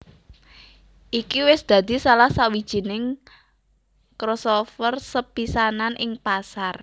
Iki wis dadi salah sawijining crossover sepisanan ing pasar